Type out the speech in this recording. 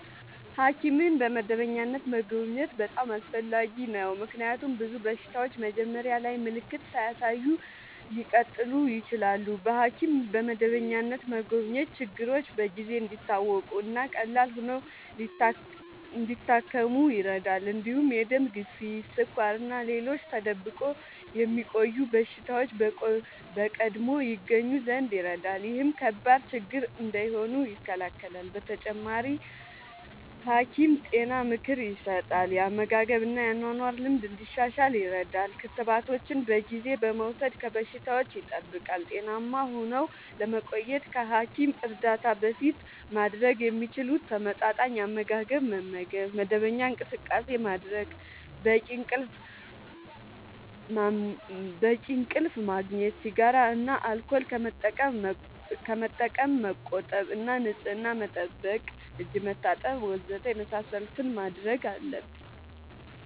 ሐኪምን በመደበኛነት መጎብኘት በጣም አስፈላጊ ነው፤ ምክንያቱም ብዙ በሽታዎች መጀመሪያ ላይ ምልክት ሳያሳዩ ሊቀጥሉ ይችላሉ። በሐኪም በመደበኛነት መጎብኘት ችግሮች በጊዜ እንዲታወቁ እና ቀላል ሆነው ሊታከሙ ይረዳል። እንዲሁም የደም ግፊት፣ ስኳር እና ሌሎች ተደብቆ የሚቆዩ በሽታዎች በቀድሞ ይገኙ ዘንድ ይረዳል። ይህም ከባድ ችግር እንዳይሆኑ ይከላከላል። በተጨማሪ፣ ሐኪም ጤና ምክር ይሰጣል፣ የአመጋገብ እና የአኗኗር ልምድ እንዲሻሻል ይረዳል። ክትባቶችን በጊዜ በመውሰድ ከበሽታዎች ይጠብቃል። ጤናማ ሆነው ለመቆየት ከሐኪም እርዳታ በፊት ማድረግ የሚችሉት፦ ተመጣጣኝ አመጋገብ መመገብ፣ መደበኛ እንቅስቃሴ ማድረግ፣ በቂ እንቅልፍ ማመቆጠብ፣ ሲጋራ እና አልኮል ከመጠቀም መቆጠብ እና ንጽህና መጠበቅ (እጅ መታጠብ ወዘተ) የመሳሰሉትን ማድረግ አለብን።